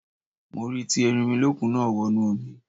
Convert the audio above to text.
Mo rí tí Erinmilọ́kun náà wọnú omi.